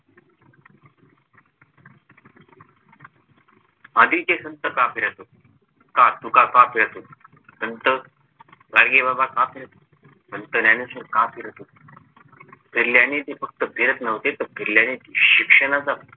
आधीचे संत का फिरत होते? का तुका का फिरत होते? संत गाडगेबाबा का फिरत होते? संत ज्ञानेश्वर का फिरत होते? फिरल्याने ते फक्त फिरत नव्हते तर फिरल्याने ते शिक्षणाचा